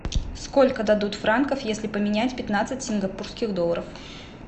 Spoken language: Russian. сколько дадут франков если поменять пятнадцать сингапурских долларов